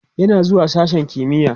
yana zuwa sashen kimiya